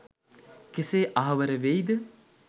කෙසේ අහවර වෙයිද?